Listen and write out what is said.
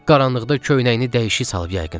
Qaranlıqda köynəyini dəyişik salıb yəqin.